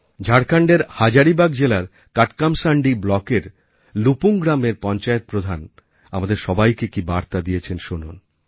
ঝাড়খণ্ডের হাজারিবাগ জেলার কাটকামশাণ্ডী ব্লকের লুপুং গ্রামের পঞ্চায়েত প্রধান আমাদের সবাইকে কী বার্তা দিয়েছেন শুনুন